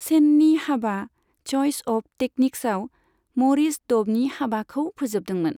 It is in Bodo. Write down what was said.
सेननि हाबा 'चइच अफ टेक्निक्स'आव मरिस ड'बनि हाबाखौ फोजोबदोंमोन।